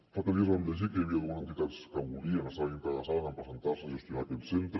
fa tres dies vam llegir que hi havia dues entitats que volien estaven interessades en presentar se a gestionar aquest centre